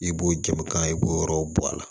I b'o jakan i b'o yɔrɔw bɔ a la